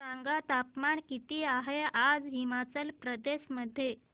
सांगा तापमान किती आहे आज हिमाचल प्रदेश मध्ये